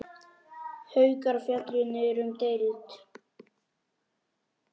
Haukar féllu niður um deild.